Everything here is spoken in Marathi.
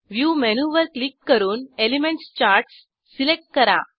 व्ह्यू मेनूवर क्लिक करून एलिमेंट्स चार्ट्स सिलेक्ट करा